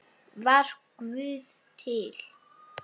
Var Guð til?